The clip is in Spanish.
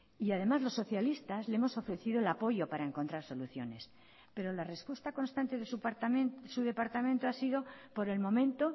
y además los socialistas le hemos ofrecido el apoyo para encontrar soluciones pero la respuesta constante de su departamento ha sido por el momento